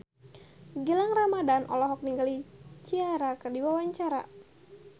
Gilang Ramadan olohok ningali Ciara keur diwawancara